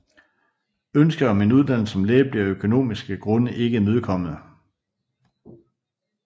Ønsket om en uddannelse som læge blev af økonomiske grunde ikke imødekommet